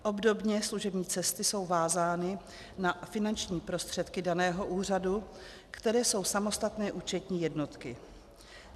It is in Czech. Obdobně služební cesty jsou vázány na finanční prostředky daného úřadu, které jsou samostatné účetní jednotky.